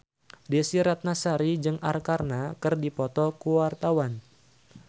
Desy Ratnasari jeung Arkarna keur dipoto ku wartawan